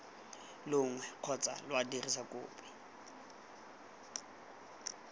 longwe kgotsa lwa dirisa kopi